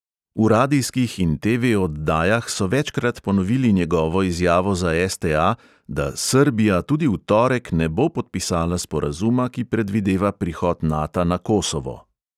V radijskih in TV oddajah so večkrat ponovili njegovo izjavo za STA, da "srbija tudi v torek ne bo podpisala sporazuma, ki predvideva prihod nata na kosovo".